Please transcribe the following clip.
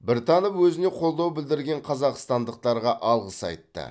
біртанов өзіне қолдау білдірген қазақстандықтарға алғыс айтты